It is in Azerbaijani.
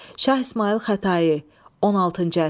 Şah İsmayıl Xətai, 16-cı əsr.